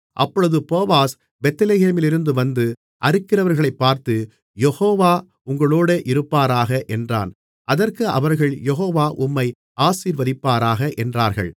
அப்பொழுது போவாஸ் பெத்லெகேமிலிருந்து வந்து அறுக்கிறவர்களைப் பார்த்து யெகோவா உங்களோடு இருப்பாராக என்றான் அதற்கு அவர்கள் யெகோவா உம்மை ஆசீர்வதிப்பாராக என்றார்கள்